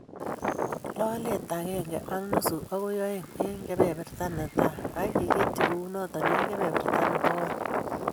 Lolet agenge ak nusu agoi oeng eng kebeberta netai ak iketchi kounoto eng kebeberta nebo oeng